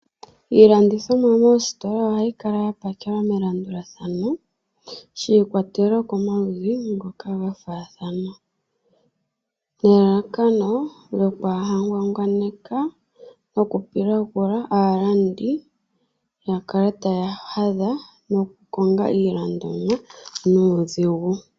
Iilandithomwa moositola ohayi kala ya pakelwa melandulathano shi ikwatelela komaludhi ngoka gafaathana. Nelalakano lyokwaaha ngwangwaneke nokupilagula aalandi, ya kale taya hadha nokukonga iilandomwa nuudhigu.